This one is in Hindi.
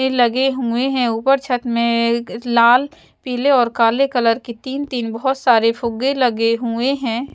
लगे हुए हैं ऊपर छत में लाल पीले और काले कलर की तीन तीन बहुत सारे फुग्गे लगे हुए हैं।